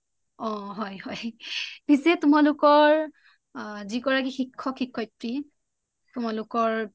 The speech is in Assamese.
অ হয় হয় পিছে তোমালোকৰ শিক্ষক শিক্ষয়িত্ৰী তোমালোকৰ